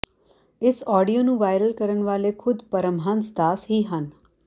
ਇਸ ਆਡੀਓ ਨੂੰ ਵਾਇਰਲ ਕਰਨ ਵਾਲੇ ਖ਼ੁਦ ਪਰਮਹੰਸ ਦਾਸ ਹੀ ਹਨ